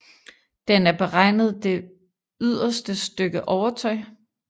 Den er beregnet det yderste stykke overtøj